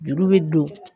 Juru bɛ don